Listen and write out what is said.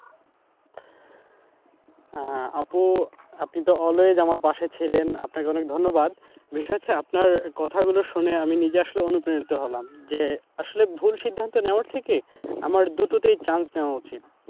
হ্যাঁ আপু আপনি তো always আমার পাশে ছিলেন, আপনাকে অনেক ধন্যবাদ। বিষয় হচ্ছে আপনার কথা গুলো শুনে আমি নিজে আসলে অনুপ্রাণিত হলাম যে আসলে ভুল সিদ্ধান্ত নেওয়ার থেকে আমার দুটোতেই chance নেওয়া উচিত।